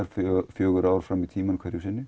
fjögur ár fram í tímann